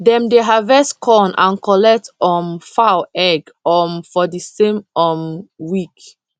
dem dey harvest corn and collect um fowl egg um for the same um week